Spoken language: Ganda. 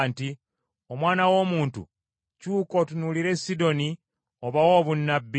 “Omwana w’omuntu kyuka otunuulire Sidoni, obawe obunnabbi,